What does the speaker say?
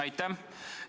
Aitäh!